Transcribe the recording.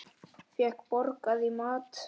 Fékk borgað í mat.